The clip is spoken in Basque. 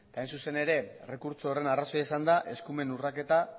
hain zuzen ere errekurtso horren arrazoia izan da eskumen urraketa